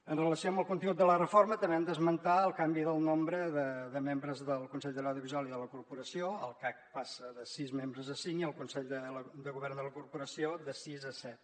amb relació al contingut de la reforma també hem d’esmentar el canvi del nombre de membres del consell de l’audiovisual i de la corporació el cac passa de sis membres a cinc i el consell de govern de la corporació de sis a set